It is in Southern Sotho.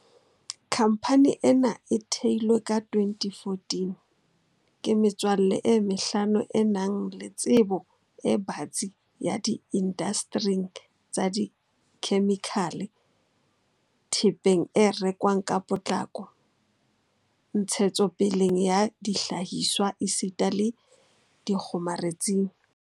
Khamphane ena e theilwe ka 2014 ke metswalle e mehlano e nang le tsebo e batsi di indastering tsa dikhemikhale, thepeng e rekwang ka potlako, ntshetsopeleng ya dihlahiswa esita le dikgomaretsing.